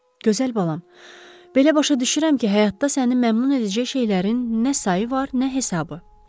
Gözəl balam, belə başa düşürəm ki, həyatda səni məmnun edəcək şeylərin nə sayı var, nə hesabı.